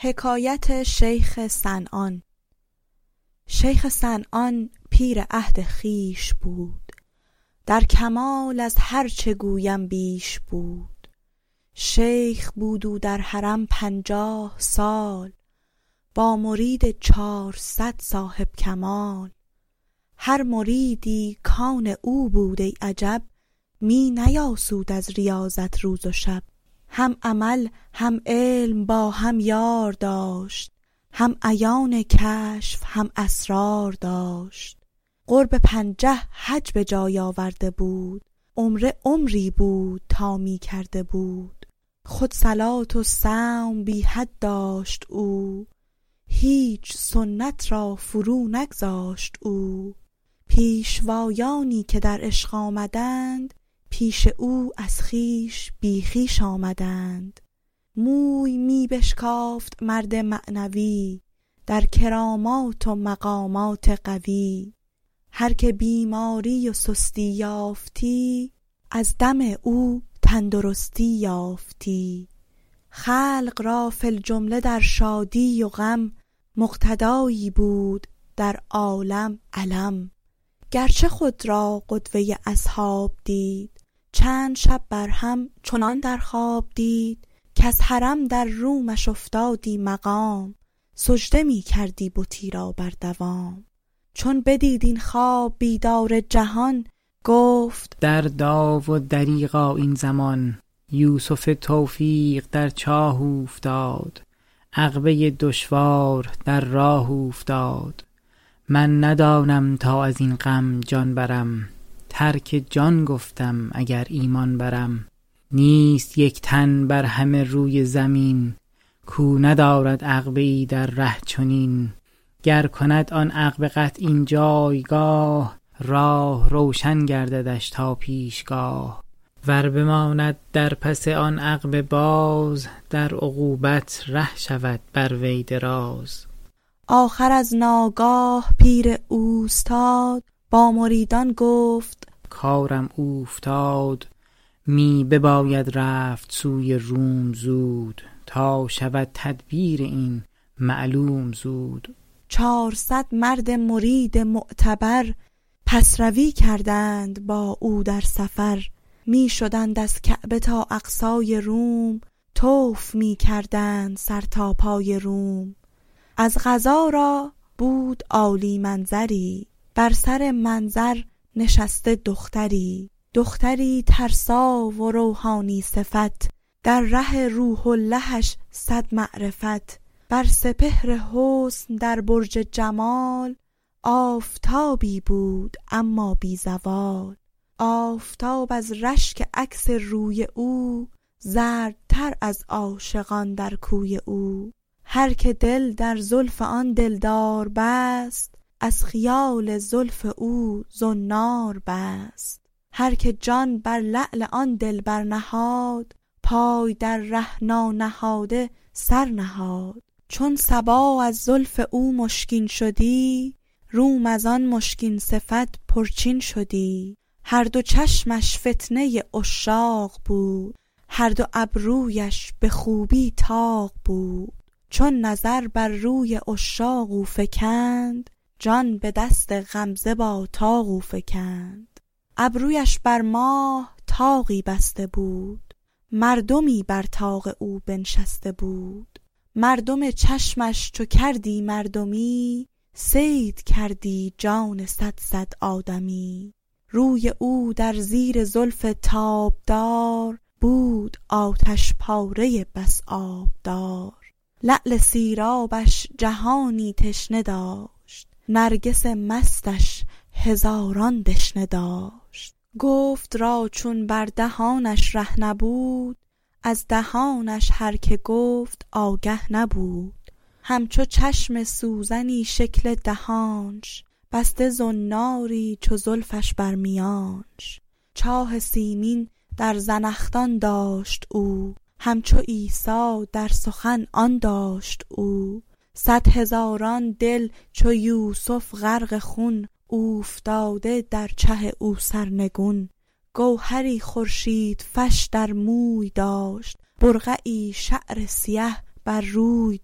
شیخ صنعان پیر عهد خویش بود در کمال از هرچه گویم بیش بود شیخ بود او در حرم پنجاه سال با مرید چارصد صاحب کمال هر مریدی کآن او بود ای عجب می نیاسود از ریاضت روز و شب هم عمل هم علم با هم یار داشت هم عیان هم کشف هم اسرار داشت قرب پنجه حج بجای آورده بود عمره عمری بود تا می کرده بود خود صلاة و صوم بی حد داشت او هیچ سنت را فرو نگذاشت او پیشوایانی که در پیش آمدند پیش او از خویش بی خویش آمدند موی می بشکافت مرد معنوی در کرامات و مقامات قوی هرکه بیماری و سستی یافتی از دم او تندرستی یافتی خلق را فی الجمله در شادی و غم مقتدایی بود در عالم علم گرچه خود را قدوه ی اصحاب دید چند شب بر هم چنان در خواب دید کز حرم در رومش افتادی مقام سجده می کردی بتی را بر دوام چون بدید این خواب بیدار جهان گفت دردا و دریغا این زمان یوسف توفیق در چاه اوفتاد عقبه دشوار در راه اوفتاد من ندانم تا ازین غم جان برم ترک جان گفتم اگر ایمان برم نیست یک تن بر همه روی زمین کو ندارد عقبه ای در ره چنین گر کند آن عقبه قطع این جایگاه راه روشن گرددش تا پیشگاه ور بماند در پس آن عقبه باز در عقوبت ره شود بر وی دراز آخر از ناگاه پیر اوستاد با مریدان گفت کارم اوفتاد می بباید رفت سوی روم زود تا شود تعبیر این معلوم زود چار صد مرد مرید معتبر پس روی کردند با او در سفر می شدند از کعبه تا اقصای روم طوف می کردند سر تا پای روم از قضا دیدند عالی منظری بر سر منظر نشسته دختری دختری ترسا و روحانی صفت در ره روح اللهش صد معرفت بر سپهر حسن در برج جمال آفتابی بود اما بی زوال آفتاب از رشک عکس روی او زردتر از عاشقان در کوی او هرکه دل در زلف آن دلدار بست از خیال زلف او زنار بست هرکه جان بر لعل آن دلبر نهاد پای در ره نانهاده سرنهاد چون صبا از زلف او مشکین شدی روم از آن هندوصفت پر چین شدی هر دو چشمش فتنه عشاق بود هر دو ابرویش به خوبی طاق بود چون نظر بر روی عشاق او فکند جان به دست غمزه با طاق او فکند ابرویش بر ماه طاقی بسته بود مردمی بر طاق او بنشسته بود مردم چشمش چو کردی مردمی صید کردی جان صد صد آدمی روی او در زیر زلف تابدار بود آتش پاره ای بس آبدار لعل سیرابش جهانی تشنه داشت نرگس مستش هزاران دشنه داشت گفت را چون بر دهانش ره نبود از دهانش هر که گفت آگه نبود همچو چشم سوزنی شکل دهانش بسته زناری چو زلفش بر میانش چاه سیمین در زنخدان داشت او همچو عیسی در سخن جان داشت او صد هزاران دل چو یوسف غرق خون اوفتاده در چه او سرنگون گوهری خورشیدفش در موی داشت برقعی شعر سیه بر روی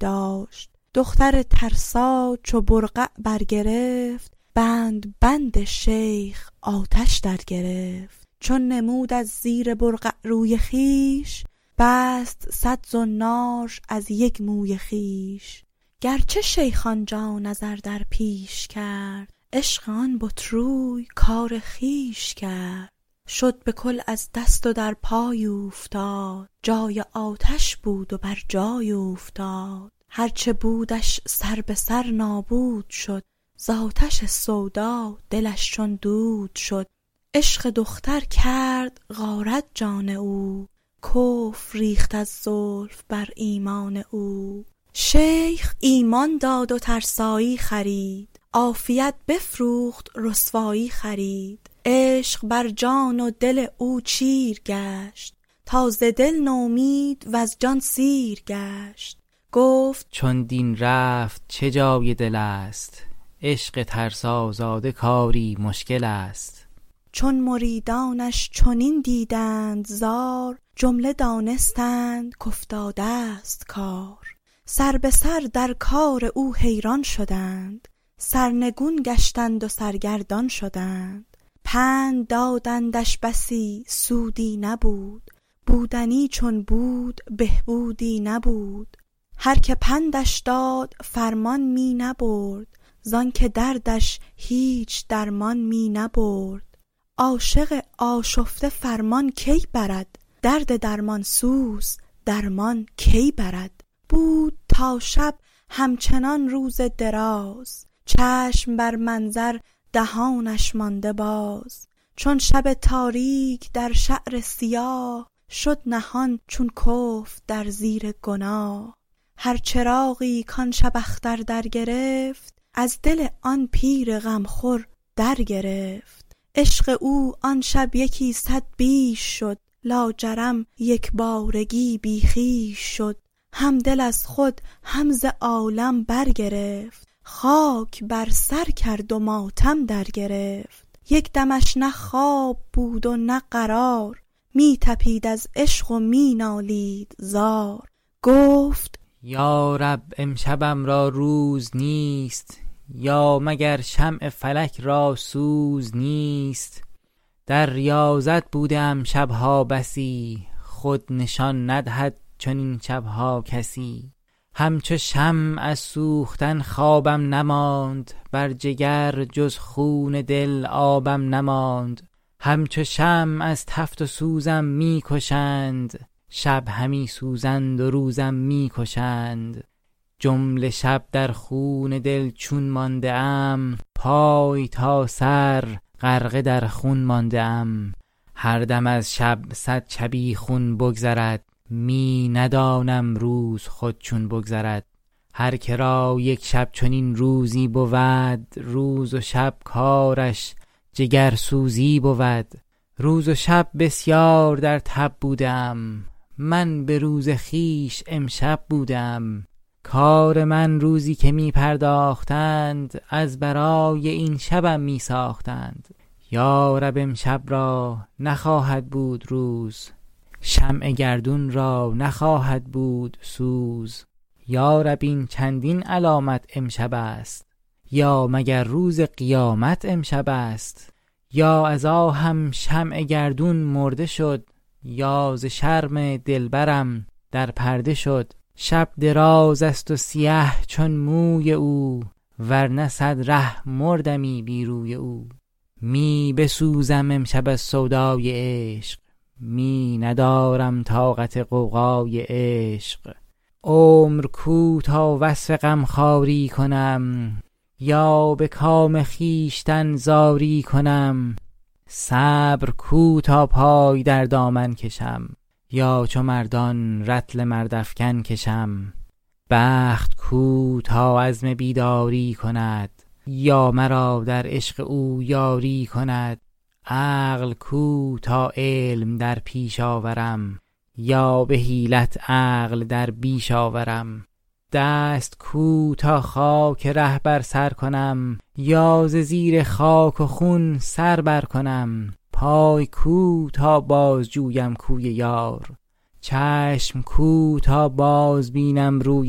داشت دختر ترسا چو برقع برگرفت بند بند شیخ آتش درگرفت چون نمود از زیر برقع روی خویش بست صد زنارش از یک موی خویش گرچه شیخ آنجا نظر در پیش کرد عشق آن بت روی کار خویش کرد شد به کل از دست و در پای اوفتاد جای آنش بود و برجای اوفتاد هرچه بودش سر به سر نابود شد ز آتش سودا دلش چون دود شد عشق دختر کرد غارت جان او ریخت کفر از زلف بر ایمان او شیخ ایمان داد و ترسایی خرید عافیت بفروخت رسوایی خرید عشق برجان و دل او چیر گشت تا ز دل نومید وز جان سیر گشت گفت چون دین رفت چه جای دلست عشق ترسازاده کاری مشکل است چون مریدانش چنین دیدند زار جمله دانستند کافتادست کار سر به سر در کار او حیران شدند سرنگون گشتند و سرگردان شدند پند دادندش بسی سودی نبود بودنی چون بود به بودی نبود هرکه پندش داد فرمان می نبرد زآن که دردش هیچ درمان می نبرد عاشق آشفته فرمان کی برد درد درمان سوز درمان کی برد بود تا شب همچنان روز دراز چشم بر منظر دهانش مانده باز چون شب تاریک در شعر سیاه شد نهان چون کفر در زیر گناه هر چراغی کآن شب اختر درگرفت از دل آن پیر غم خور درگرفت عشق او آن شب یکی صد بیش شد لاجرم یک بارگی بی خویش شد هم دل از خود هم ز عالم برگرفت خاک بر سر کرد و ماتم درگرفت یک دمش نه خواب بود و نه قرار می تپید از عشق و می نالید زار گفت یا رب امشبم را روز نیست یا مگر شمع فلک را سوز نیست در ریاضت بوده ام شب ها بسی خود نشان ندهد چنین شب ها کسی همچو شمع از سوختن خوابم نماند بر جگر جز خون دل آبم نماند همچو شمع از تفت و سوزم می کشند شب همی سوزند و روزم می کشند جمله شب در خون دل چون مانده ام پای تا سر غرقه در خون مانده ام هر دم از شب صد شبیخون بگذرد می ندانم روز خود چون بگذرد هرکه را یک شب چنین روزی بود روز و شب کارش جگرسوزی بود روز و شب بسیار در تب بوده ام من به روز خویش امشب بوده ام کار من روزی که می پرداختند از برای این شبم می ساختند یا رب امشب را نخواهد بود روز شمع گردون را نخواهد بود سوز یا رب این چندین علامت امشبست یا مگر روز قیامت امشبست یا از آهم شمع گردون مرده شد یا ز شرم دلبرم در پرده شد شب دراز است و سیه چون موی او ورنه صد ره مردمی بی روی او می بسوزم امشب از سودای عشق می ندارم طاقت غوغای عشق عمر کو تا وصف غم خواری کنم یا به کام خویشتن زاری کنم صبر کو تا پای در دامن کشم یا چو مردان رطل مردافکن کشم بخت کو تا عزم بیداری کند یا مرا در عشق او یاری کند عقل کو تا علم در پیش آورم یا به حیلت عقل با خویش آورم دست کو تا خاک ره بر سر کنم یا ز زیر خاک و خون سر برکنم پای کو تا بازجویم کوی یار چشم کو تا بازبینم روی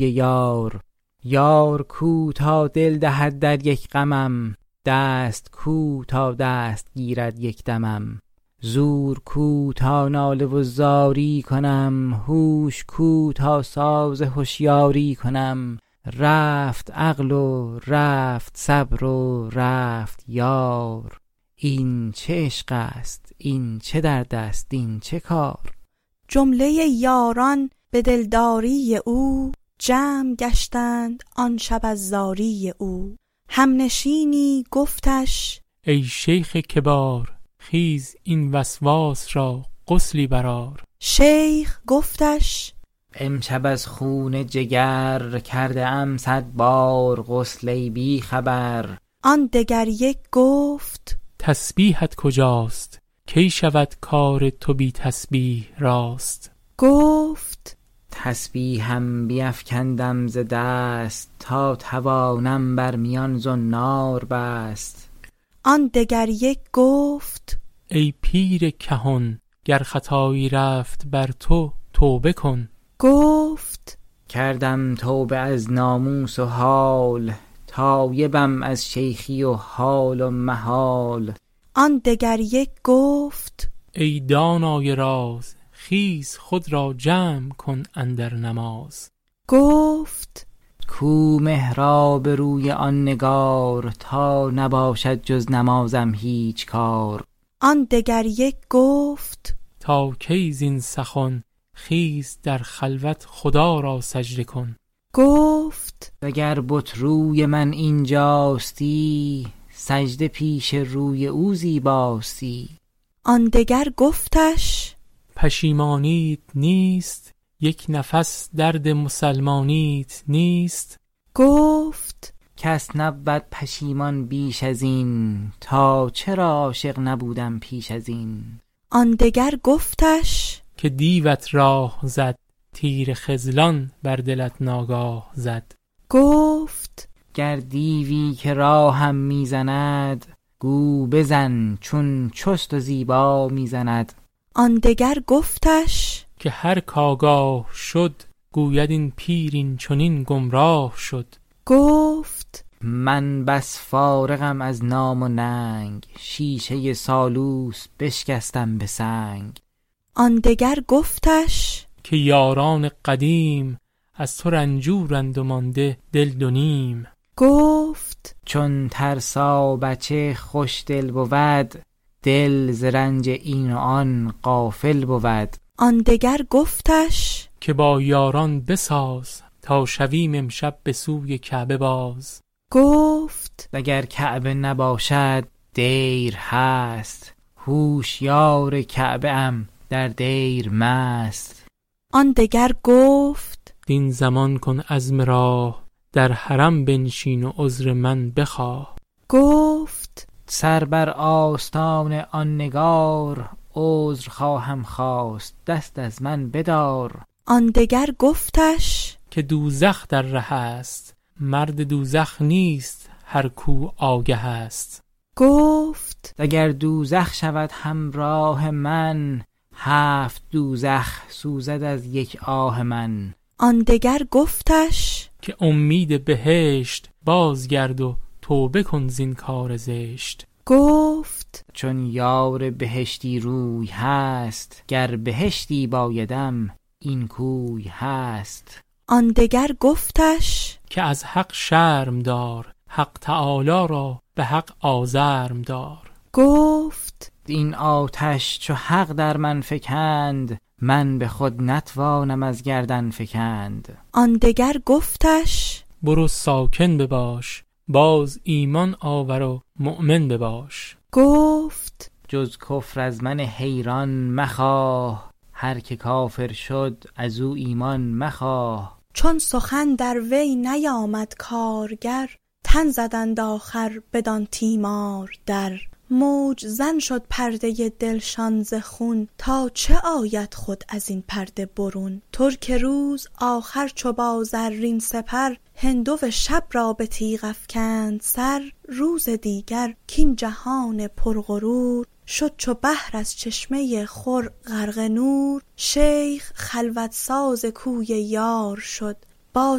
یار یار کو تا دل دهد در یک غمم دست کو تا دست گیرد یک دمم زور کو تا ناله و زاری کنم هوش کو تا ساز هشیاری کنم رفت عقل و رفت صبر و رفت یار این چه عشق است این چه درد است این چه کار جمله یاران به دلداری او جمع گشتند آن شب از زاری او همنشینی گفتش ای شیخ کبار خیز این وسواس را غسلی برآر شیخ گفتش امشب از خون جگر کرده ام صد بار غسل ای بی خبر آن دگر یک گفت تسبیحت کجاست کی شود کار تو بی تسبیح راست گفت تسبیحم بیفکندم ز دست تا توانم بر میان زنار بست آن دگر یک گفت ای پیرکهن گر خطایی رفت بر تو توبه کن گفت کردم توبه از ناموس و حال تایبم از شیخی و حال و محال آن دگر یک گفت ای دانای راز خیز خود را جمع کن اندر نماز گفت کو محراب روی آن نگار تا نباشد جز نمازم هیچ کار آن دگر یک گفت تا کی زین سخن خیز در خلوت خدا را سجده کن گفت اگر بت روی من اینجاستی سجده پیش روی او زیباستی آن دگر گفتش پشیمانیت نیست یک نفس درد مسلمانیت نیست گفت کس نبود پشیمان بیش ازین تا چرا عاشق نبودم پیش ازین آن دگر گفتش که دیوت راه زد تیر خذلان بر دلت ناگاه زد گفت دیوی کو ره ما می زند گو بزن چون چست و زیبا می زند آن دگر گفتش که هرک آگاه شد گوید این پیر این چنین گمراه شد گفت من بس فارغم از نام و ننگ شیشه سالوس بشکستم به سنگ آن دگر گفتش که یاران قدیم از تو رنجورند و مانده دل دو نیم گفت چون ترسابچه خوش دل بود دل ز رنج این و آن غافل بود آن دگر گفتش که با یاران بساز تا شویم امشب بسوی کعبه باز گفت اگر کعبه نباشد دیر هست هوشیار کعبه ام در دیر مست آن دگر گفت این زمان کن عزم راه در حرم بنشین و عذر خویش خواه گفت سر بر آستان آن نگار عذر خواهم خواست دست از من بدار آن دگر گفتش که دوزخ در ره است مرد دوزخ نیست هر کو آگه است گفت اگر دوزخ شود همراه من هفت دوزخ سوزد از یک آه من آن دگر گفتش بر امید بهشت باز گرد و توبه کن زین کار زشت گفت چون یار بهشتی روی هست گر بهشتی بایدم این کوی هست آن دگر گفتش که از حق شرم دار حق تعالی را به حق آزرم دار گفت این آتش چو حق در من فکند من به خود نتوانم از گردن فکند آن دگر گفتش برو ساکن بباش باز ایمان آور و مؤمن بباش گفت جز کفر از من حیران مخواه هرک کافر شد ازو ایمان مخواه چون سخن در وی نیامد کارگر تن زدند آخر بدان تیمار در موج زن شد پرده دلشان ز خون تا چه آید خود ازین پرده برون ترک روز آخر چو با زرین سپر هندوی شب را به تیغ افکند سر روز دیگر کاین جهان پر غرور شد چو بحر از چشمه خور غرق نور شیخ خلوت ساز کوی یار شد با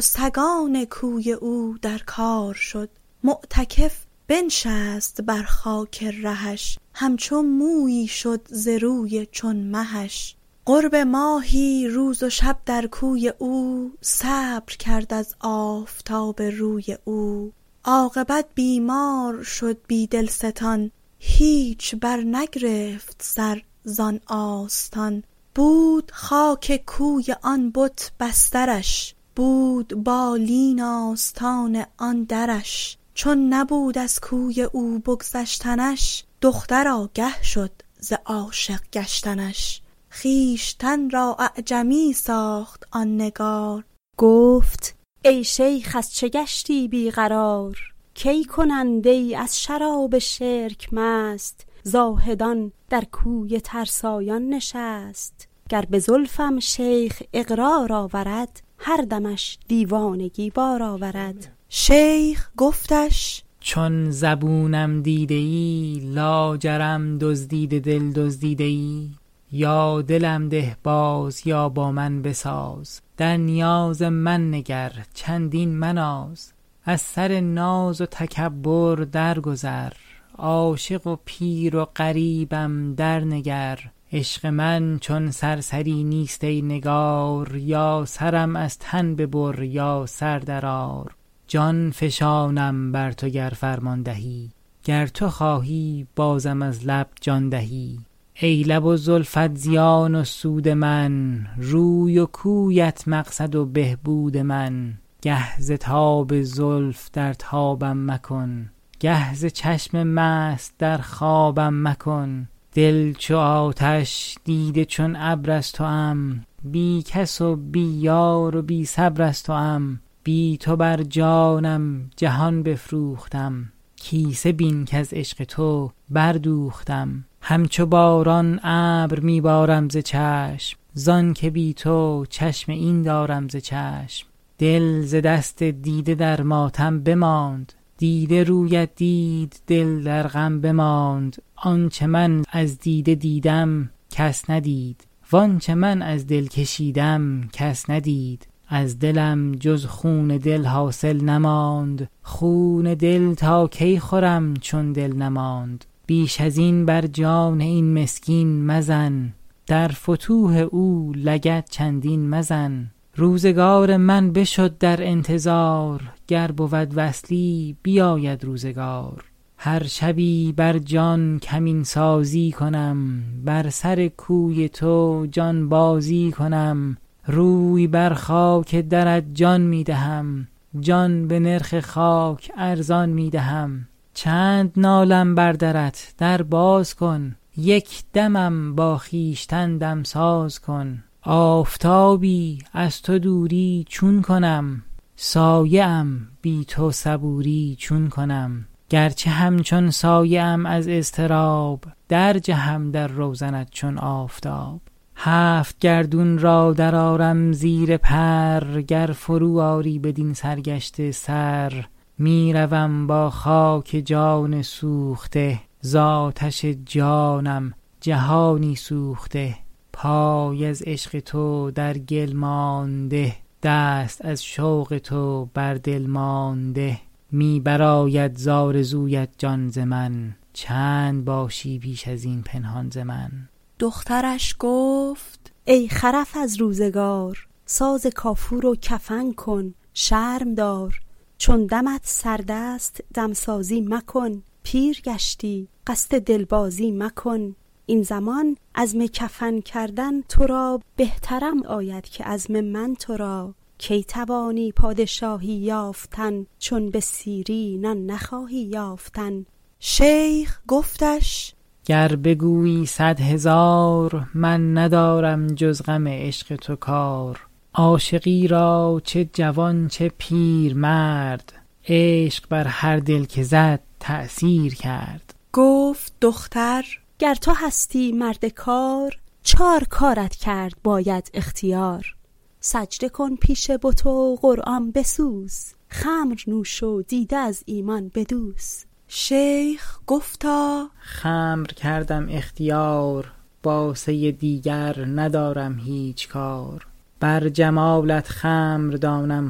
سگان کوی او در کار شد معتکف بنشست بر خاک رهش همچو مویی شد ز روی چون مهش قرب ماهی روز و شب در کوی او صبر کرد از آفتاب روی او عاقبت بیمار شد بی دلستان هیچ برنگرفت سر زآن آستان بود خاک کوی آن بت بسترش بود بالین آستان آن درش چون نبود از کوی او بگذشتنش دختر آگه شد ز عاشق گشتنش خویشتن را اعجمی کرد آن نگار گفت ای شیخ از چه گشتی بی قرار کی کنند ای از شراب شرک مست زاهدان در کوی ترسایان نشست گر به زلفم شیخ اقرار آورد هر دمش دیوانگی بار آورد شیخ گفتش چون زبونم دیده ای لاجرم دزدیده دل دزدیده ای یا دلم ده باز یا با من بساز در نیاز من نگر چندین مناز از سر ناز و تکبر درگذر عاشق و پیر و غریبم درنگر عشق من چون سرسری نیست ای نگار یا سرم از تن ببر یا سر درآر جان فشانم بر تو گر فرمان دهی گر تو خواهی بازم از لب جان دهی ای لب و زلفت زیان و سود من روی و کویت مقصد و مقصود من گه ز تاب زلف در تابم مکن گه ز چشم مست در خوابم مکن دل چو آتش دیده چون ابر از توام بی کس و بی یار و بی صبر از توام بی تو بر جانم جهان بفروختم کیسه بین کز عشق تو بردوختم همچو باران اشک می بارم ز چشم زآن که بی تو چشم این دارم ز چشم دل ز دست دیده در ماتم بماند دیده رویت دید دل در غم بماند آنچه من از دیده دیدم کس ندید وآنچه من از دل کشیدم کس ندید از دلم جز خون دل حاصل نماند خون دل تا کی خورم چون دل نماند بیش ازین بر جان این مسکین مزن در فتوح او لگد چندین مزن روزگار من بشد در انتظار گر بود وصلی بیاید روزگار هر شبی بر جان کمین سازی کنم بر سر کوی تو جان بازی کنم روی بر خاک درت جان می دهم جان به نرخ خاک ارزان می دهم چند نالم بر درت در باز کن یک دمم با خویشتن دمساز کن آفتابی از تو دوری چون کنم سایه ام بی تو صبوری چون کنم گرچه همچون سایه ام از اضطراب درجهم در روزنت چون آفتاب هفت گردون را درآرم زیر پر گر فرو آری بدین سرگشته سر می روم با خاک جان سوخته ز آتش جانم جهانی سوخته پای از عشق تو در گل مانده دست از شوق تو بر دل مانده می برآید ز آرزویت جان ز من چند باشی بیش از این پنهان ز من دخترش گفت ای خرف از روزگار ساز کافور و کفن کن شرم دار چون دمت سرد است دمسازی مکن پیر گشتی قصد دل بازی مکن این زمان عزم کفن کردن تو را بهترم آید که عزم من تو را کی توانی پادشاهی یافتن چون به سیری نان نخواهی یافتن شیخ گفتش گر بگویی صد هزار من ندارم جز غم عشق تو کار عاشقی را چه جوان چه پیرمرد عشق بر هر دل که زد تأثیر کرد گفت دختر گر تو هستی مرد کار چار کارت کرد باید اختیار سجده کن پیش بت و قرآن بسوز خمر نوش و دیده از ایمان بدوز شیخ گفتا خمر کردم اختیار با سه دیگر ندارم هیچ کار بر جمالت خمر دانم